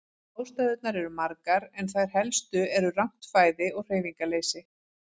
Ástæðurnar eru margar en þær helstu eru rangt fæði og hreyfingarleysi.